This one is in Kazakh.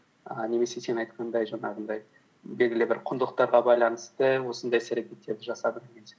ііі немесе сен айтқандай жаңағындай белгілі бір құндылықтарға байланысты осындай іс әрекеттерді жасадым деген сияқты